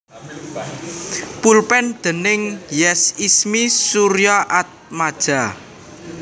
Pulpen déning Yes Ismie Suryaatmaja